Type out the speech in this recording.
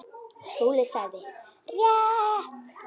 SKÚLI: Rétt!